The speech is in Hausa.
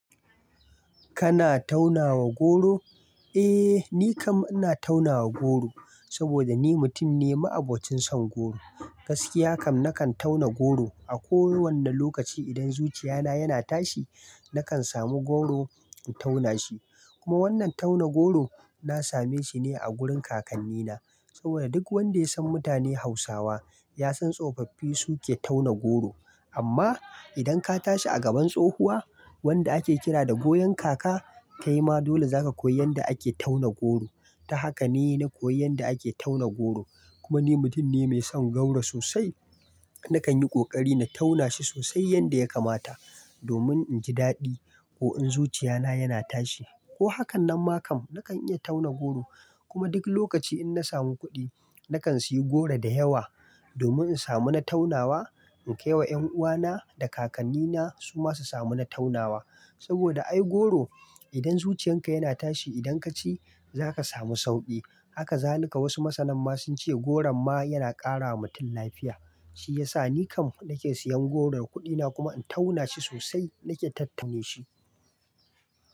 Kana taunawa goro? Eh, ni kam ina taunawa goro saboda ni mutum ne ma'abocin son goro. Gaskiya kam, nakan tauna goro a kowani lokaci. Idan zuciya na yana tashi, nakan samu goro in tauna shi. Kuma wannan tauna goro na same shine a wurin kakanni na. Saboda duk wanda ya san mutane Hausawa, ya san tsofaffi su ke tauna goro. Amma idan ka tashi a gaban tsohuwa wanda ake kira da goyon kaka, kai ma dole za ka koyi yanda ake tauna goro. Ta haka ne na koyi yanda ake tauna goro. Kuma ni mutum ne mai son goro sosai. Nakan yi ƙoƙari na tauna shi sosai yadda ya kamata domin in ji daɗi ko in zuciya na yana tashi ko hakanan ma kam nakan iya tauna goro. Kuma duk lokaci in na samu kuɗi, nakan sayi goro da yawa domin in samu na taunawa, in kai wa ƴan uwa na da kakanni na su ma su samu na taunawa. Saboda ai goro idan zuciyan ka yana tashi idan ka ci, za ka samu sauƙi. Haka zalika wasu masanan ma sunce goron ma yana ƙara wa mutum lafiya. Shiyasa ni kam nake siyan goro da kuɗi na kuma in tauna shi sosai na ke tattame shi.